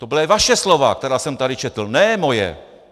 To byla vaše slova, která jsem tady četl, ne moje.